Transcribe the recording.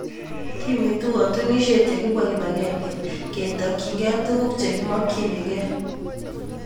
Kimiitu katunisiet ye kibwaa kip agenge ketokchigeei tuguk che kimokchinigeei